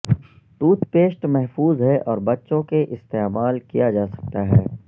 tooth paste محفوظ ہے اور بچوں کے استعمال کیا جا سکتا ہے